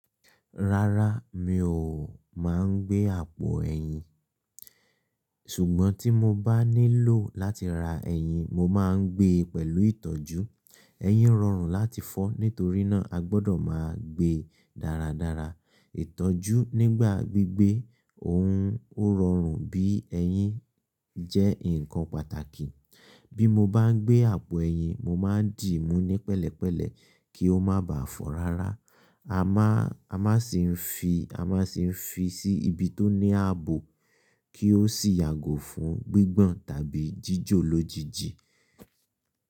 Rárá, mi ò máa ń gbé àpò ẹyin. Ṣùgbọ́n tí mo bá nílò láti ra ẹyin, mo máa ń gbé pẹ̀lú ìtọ́jú. Eyin rọrùn láti fọ́, nítorí náà a gbọ́dọ̀ máa gbé dáradára. Ìtọ́jú nígbà gbígbé òun ó rọrùn bí ẹyin jẹ́ ǹkan pàtàkì. Bí mo bá ń gbé àpò ẹyin, mo máa ń dìímú ní pẹ̀lẹ́pẹ̀lẹ́ kí ó má bà a fọ́ rárá. A máa sì ń fi sí ibi tó ní ààbò kí ó sì yàgò fún gbígbọ̀n tàbí jíjò lójijì.